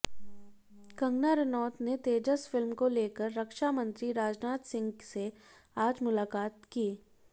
कंगना रनौत ने तेजस फिल्म को लेकर रक्षा मंत्री राजनाथ सिंह से आज मुलाकात की